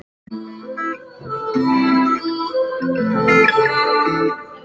Hældi honum á hvert reipi.